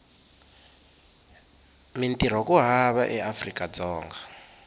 mintirho ku hava eafrika dzonga